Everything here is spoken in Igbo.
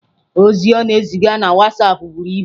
Ozi ọ na-eziga na WhatsApp buru ibu.